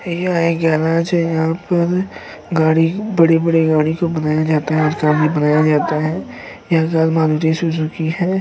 यह एक गैराज है। यहाँ पर गाड़ी- बड़ी-बड़ी गाड़ी को बनाया जाता है। बनाया जाता है। यह कार मारुति सुजुकी है।